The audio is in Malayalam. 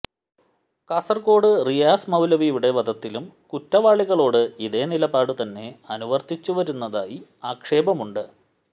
കാസര്ക്കോട് റിയാസ് മൌലവിയുടെ വധത്തിലും കുറ്റവാളികളോട് ഇതേ നിലപാട് തന്നെ അനുവര്ത്തിച്ചുവരുന്നതായി ആക്ഷേപമുണ്ട്